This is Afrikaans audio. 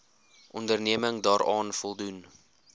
onderneming daaraan voldoen